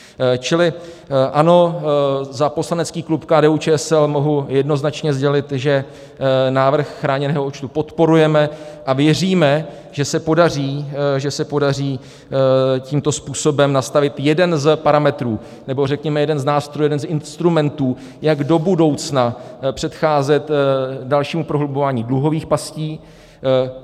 Čili ano, za poslanecký klub KDU-ČSL mohu jednoznačně sdělit, že návrh chráněného účtu podporujeme a věříme, že se podaří tímto způsobem nastavit jeden z parametrů, nebo řekněme jeden z nástrojů, jeden z instrumentů, jak do budoucna předcházet dalšímu prohlubování dluhových pastí.